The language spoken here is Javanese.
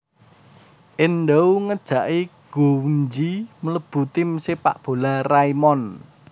Endou ngejaki Gouenji mlebu tim Sepak bola Raimon